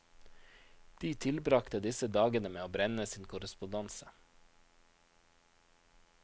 De tilbragte disse dagene med å brenne sin korrespondanse.